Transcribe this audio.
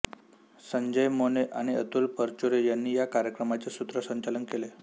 संजय मोने आणि अतुल परचुरे यांनी या कार्यक्रमाचे सूत्रसंचालन केले